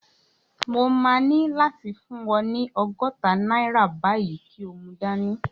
Mo máa ní láti fún ọ ní ọgọ́ta náírà báyìí kí o mu dání